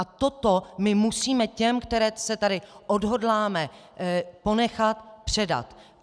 A toto my musíme těm, které se tady odhodláme ponechat, předat.